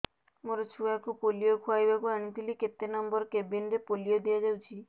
ମୋର ଛୁଆକୁ ପୋଲିଓ ଖୁଆଇବାକୁ ଆଣିଥିଲି କେତେ ନମ୍ବର କେବିନ ରେ ପୋଲିଓ ଦିଆଯାଉଛି